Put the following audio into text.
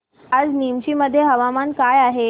आज नीमच मध्ये हवामान कसे आहे